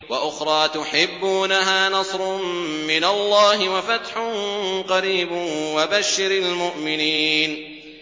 وَأُخْرَىٰ تُحِبُّونَهَا ۖ نَصْرٌ مِّنَ اللَّهِ وَفَتْحٌ قَرِيبٌ ۗ وَبَشِّرِ الْمُؤْمِنِينَ